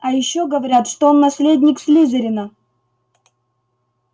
а ещё говорят что он наследник слизерина